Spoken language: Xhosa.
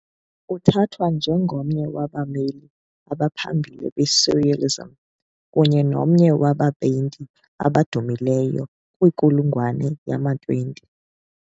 Uthathwa njengomnye wabameli abaphambili be-surrealism, kunye nomnye wabapeyinti abadumileyo benkulungwane yama-20.